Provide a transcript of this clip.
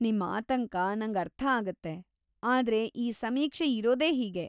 ನಿಮ್‌ ಆತಂಕ ನಂಗರ್ಥ ಆಗತ್ತೆ, ಆದ್ರೆ ಈ ಸಮೀಕ್ಷೆ ಇರೋದೇ ಹೀಗೆ.